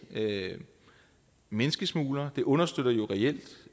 menneskesmuglere det understøtter jo reelt